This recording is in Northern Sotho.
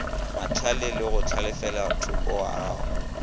mahlale le go hlalefelathoko wago